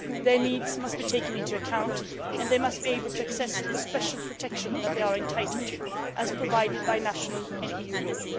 Their needs must be taken into account and they must be able to access the special protection that they are entitled to, as provided by national and EU law.